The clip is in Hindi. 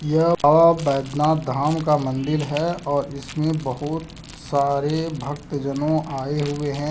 यह बाबा बैद्यनाथ धाम का मंदिर है और इसमें बहुत सारे भक्त जनों आए हुए हैं।